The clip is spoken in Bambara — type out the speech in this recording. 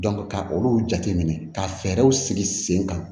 ka olu jateminɛ ka fɛɛrɛw sigi sen kan